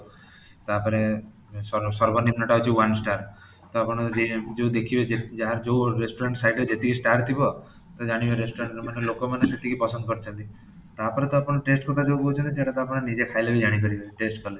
ତା'ପରେ ସର୍ବନିମ୍ନ ଟା ହଉଚି one star ତ ଆପଣ ଯୋଉ ଦେଖିବେ ଯାହାର ଯୋଉ restaurant site ରେ ଯେତିକି star ଥିବ ତ ଜାଣିବେ restaurant ମାନେ ଲୋକମାନେ ସେତିକି ପସନ୍ଦ କରିଛନ୍ତି, ତା'ପରେ ତ ଆପଣ taste କଥା ଯୋଉ କହୁଛନ୍ତି ସେଇଟା ତା ଆପଣ ନିଜେ ଖାଇଲେ ହିଁ ଜାଣିପାରିବେ taste କଥା